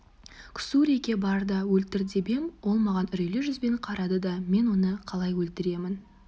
ксуриге бар да өлтір деп ем ол маған үрейлі жүзбен қарады да мен оны қалай өлтіремін